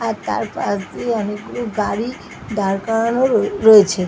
আর তার পাশ দিয়ে অনেকগুলি গাড়ি দাঁড় করানো রয়ে - রয়েছে ।